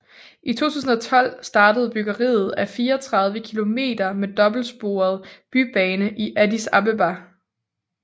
I 2012 startede byggeriet af 34 kilometer med dobbeltsporet bybane i Addis Abeba